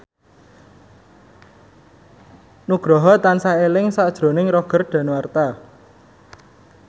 Nugroho tansah eling sakjroning Roger Danuarta